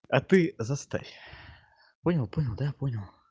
а ты заставь понял понял да понял